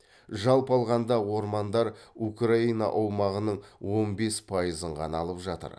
жалпы алғанда ормандар украина аумағының он бес пайызын ғана алып жатыр